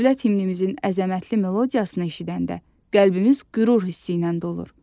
Dövlət himnimizin əzəmətli melodiyasını eşidəndə, qəlbimiz qürur hissi ilə dolur.